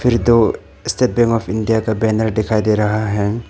फिर दो State Bank of India का बैनर दिखाई दे रहा है।